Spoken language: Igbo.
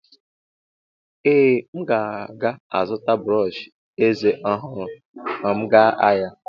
Ee, m ga-azụta brọsh eze ọhụrụ ma m ga ahịa.